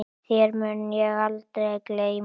Þér mun ég aldrei gleyma.